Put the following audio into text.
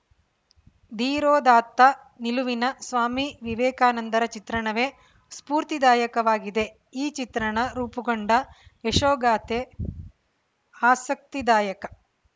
ಧೀರೋದಾತ್ತ ನಿಲುವಿನ ಸ್ವಾಮಿ ವಿವೇಕಾನಂದರ ಚಿತ್ರಣವೇ ಸ್ಫೂರ್ತಿದಾಯಕವಾಗಿದೆ ಈ ಚಿತ್ರಣ ರೂಪುಗೊಂಡ ಯಶೋಗಾಥೆ ಆಸಕ್ತಿದಾಯಕ